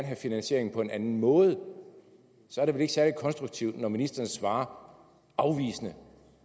have finansieringen på en anden måde og så er det vel ikke særlig konstruktivt når ministeren svarer afvisende